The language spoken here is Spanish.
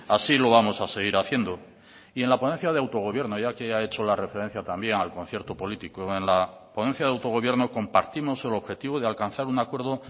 así lo vamos a seguir haciendo y en la ponencia de autogobierno ya que ha hecho la referencia también al concierto político en la ponencia de autogobierno compartimos el objetivo de alcanzar un acuerdo